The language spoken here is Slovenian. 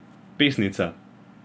Pesnica.